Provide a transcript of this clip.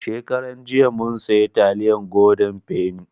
Shekaran jiya mun siya taliyan goden feni